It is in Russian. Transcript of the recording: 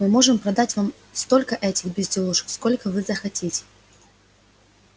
мы можем продать вам столько этих безделушек сколько вы захотите